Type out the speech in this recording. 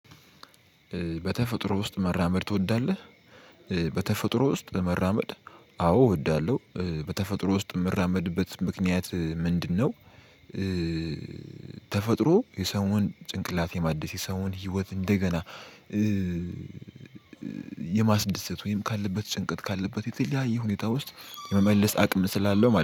በተፈጥሮ ውስጥ መራመድ ትወዳለህ? በተፈጥሮ ውስጥ መራመድ? አዎ እወዳለሁ በተፈጥሮ ውስጥ የምራመድበት ምክንያት ምንድነው? ተፈጥሮ የሰውን ጭንቅላት የማደስ የሰውን ህይወት እንደገና የማስደሰት ወይም ካለበት ጭንቀት ካለበት የተለያየ ሁኔታ ውስጥ የመመለስ አቅም ስላለው